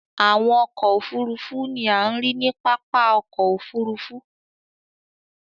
Àwọn ọkọ òfurufú ní a ríi ní pápá ọkọ̀ òfurufú.